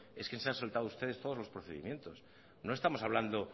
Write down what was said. es que se han saltado ustedes todos los procedimientos no estamos hablando